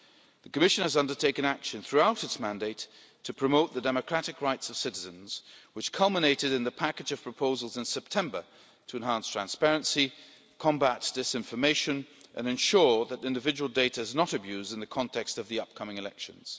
The Commission has taken action throughout its term of office to promote the democratic rights of citizens, culminating in the package of proposals in September to enhance transparency, combat disinformation and ensure that individual data is not abused, in the context of the upcoming elections.